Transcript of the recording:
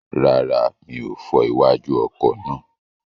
Rárá, mi ò fọ iwájú ọkọ̀ náà.